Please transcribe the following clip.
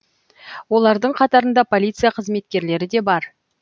олардың қатарында полиция қызметкерлері де бар